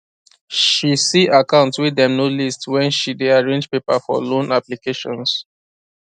she see account way dem no list when she day arrange paper for loan applications